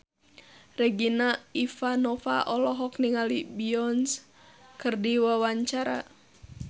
Regina Ivanova olohok ningali Beyonce keur diwawancara